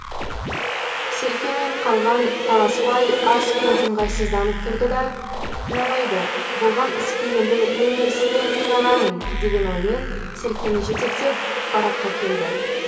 серкемен қалған таласбай аз кем ыңғайсызданып тұрды да жарайды болған іске енді неменесіне қиналамын деген оймен серкені жетектеп бараққа келді